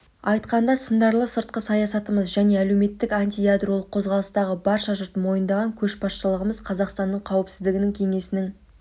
айтқанда сындарлы сыртқы саясатымыз және әлемдік антиядролық қозғалыстағы барша жұрт мойындаған көшбасшылығымыз қазақстанның қауіпсіздік кеңесінің